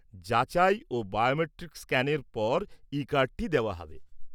যাচাই ও বায়োমেট্রিক স্ক্যানের পর ই কার্ডটি দেওয়া হবে।